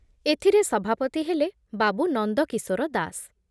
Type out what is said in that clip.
ଏଥିରେ ସଭାପତି ହେଲେ ବାବୁ ନନ୍ଦକିଶୋର ଦାସ ।